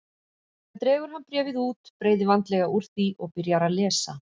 Síðan dregur hann bréfið út, breiðir vandlega úr því og byrjar að lesa.